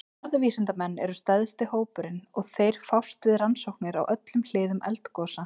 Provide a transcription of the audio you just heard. Jarðvísindamenn eru stærsti hópurinn og þeir fást við rannsóknir á öllum hliðum eldgosa.